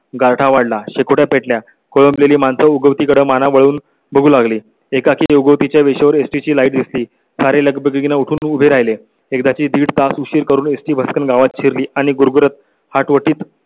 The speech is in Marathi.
गारठा वाढला शेकोट्या पेटल्या, खोळंबलेली माणसं उगवती कडं म्हणून बघू लागली. एकाकी योग या विषयावर एसटी ची लाइट दिस ती सारे लगबगी ने उठून उभे राहिले एकदा ची दीड तास उशीर करून एसटी बस गावात शिरली आणि गुरगुरत आठवणीत